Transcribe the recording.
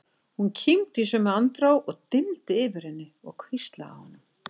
Hún kímdi í sömu andrá og dimmdi yfir henni og hvíslaði að honum